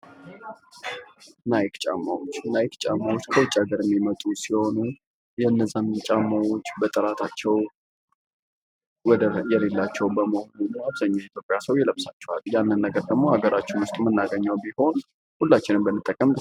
ናይክ ጫማዎች ናይክ ጫማዎች ከዉጭ ሃገር የሚመጡ ሲሆኑ እነዚህ ጫማዎች በጥራታቸው ወደር የሌላቸው በመሆን እና አብዛኛው የኢትዮጵያ ሰው ይለብሳቸዋል። ያንን ነገር ደግሞ ሃገራችን ዉስጥ የምናገኘው ቢሆን ሁላችንም ብንጠቀመው ደስ ይለናል።